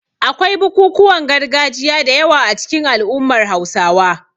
Akwai bukukuwan gargajiya da yawa a cikin al'ummar Hausawa.